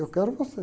Eu quero você.